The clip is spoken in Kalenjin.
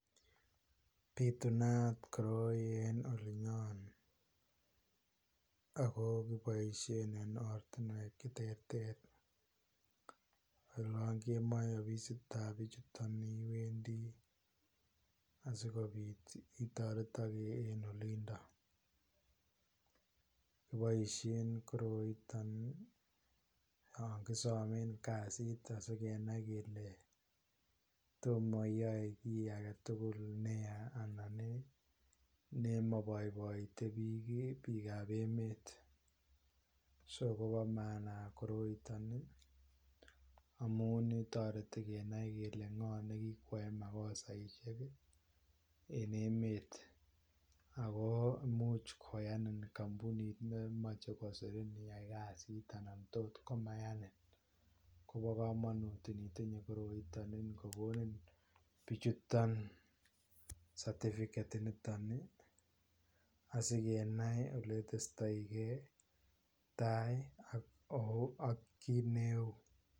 Bitunat koroi en olinyon ago kiboisien en ortinuek che terter. Olan kemoe ofisitab bichuton iwendi asigopit itoretoge en olindon. Kiboisien koroitob yon kisamen kasit asi kenai kele toma iyoe ki agetugul neya anan ii nemoiboiboite biik ii, biikab emet. Sokobomaana koroiton amun toreti kenai kele ngo ne kikwae makosaisiek en emet ago imuch koyanin kampunit nemoche kosirin iyai kasit anan tot komaiyanin. Kobo kamanut itinye koroiton ingogonin biichuton satifiket initon asikenai oletestoige tai ak kit neu.